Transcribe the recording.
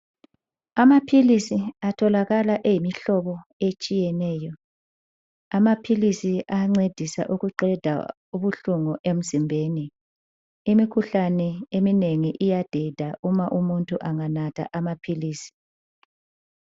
Amaphilisi atholakala eyimihlobo etshiyeneyo. Amaphilisi ayancedisa ukuqeda ubuhlungu emzimbeni. Imikhuhlane eminengi iyadeda uma umuntu anganatha amaphilisi.